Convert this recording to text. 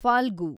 Phalgu